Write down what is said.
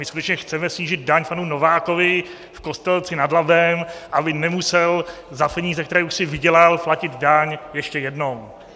My skutečně chceme snížit daň panu Novákovi v Kostelci nad Labem, aby nemusel za peníze, které už si vydělal, platit daň ještě jednou.